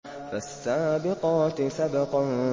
فَالسَّابِقَاتِ سَبْقًا